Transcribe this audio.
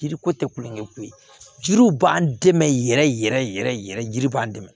Yiri ko tɛ kulonkɛ ko ye jiriw b'an dɛmɛ yɛrɛ yɛrɛ yiri b'an dɛmɛ